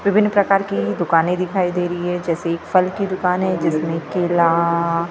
विभिन्न प्रकार की दुकानें दिखाई दे रही है जैसे एक फल की दुकान है जिसमें केला केले --